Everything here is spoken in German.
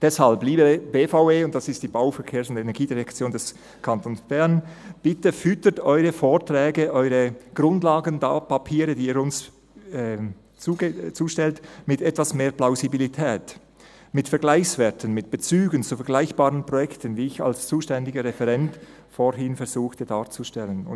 Deshalb: Liebe BVE – das ist die Bau-, Verkehrs- und Energiedirektion des Kantons Bern – bitte füttern Sie Ihre Vorträge, Ihre Grundlagenpapiere, die Sie uns zustellen, mit etwas mehr Plausibilität, mit Vergleichswerten, mit Bezügen zu vergleichbaren Projekten, wie ich als zuständiger Referent vorhin darzustellen versuchte.